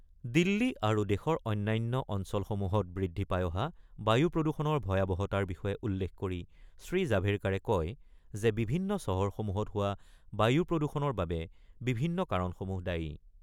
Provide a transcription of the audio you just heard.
দিল্লী আৰু দেশৰ অন্যান্য অঞ্চলসমূহত বৃদ্ধি পাই অহা বায়ু প্ৰদূষণৰ ভয়াৱহতাৰ বিষয়ে উল্লেখ কৰি শ্ৰীজাভেৰকাড়ে কয় যে বিভিন্ন চহৰসমূহত হোৱা বায়ু প্ৰদূষণৰ বাবে বিভিন্ন কাৰণসমূহ দায়ী।